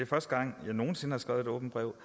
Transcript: første gang jeg nogen sinde har skrevet et åbent brev